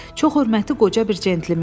Çox hörmətli qoca bir centlmendir.